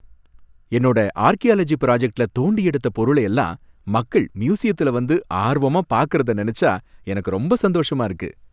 என்னோட ஆர்கியாலஜி பிராஜக்ட்ல தோண்டியெடுத்த பொருள எல்லாம் மக்கள் மியூசியத்துல வந்து ஆர்வமா பாக்குறத நினைச்சா எனக்கு ரொம்ப சந்தோஷமா இருக்கு.